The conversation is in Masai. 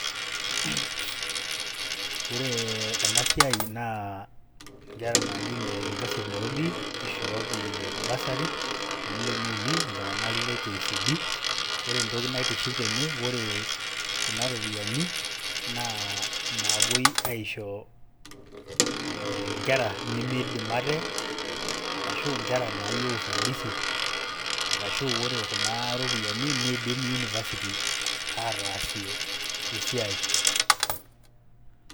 Ore ena siai naa nkera naaji ine University of Nairobi ishooki bursary, milioni uni iltung'anak le KCB, kore entoki naitiship tene ore kuna ropiani naa napuoi aisho nkera nemiidim ate arashu nkera nayeu usaidizi arashu ore kuna ropiani nidim university ataasie esiai.